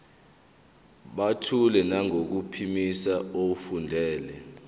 buthule nangokuphimisa efundela